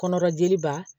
Kɔnɔbali ba